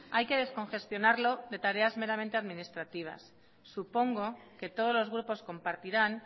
hay que descongestionarlo de tareas meramente administrativas supongo que todos los grupos compartirán